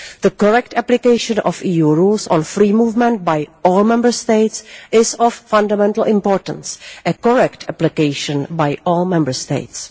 The correct application of EU rules on free movement by all Member States is of fundamental importance correct application by all Member States.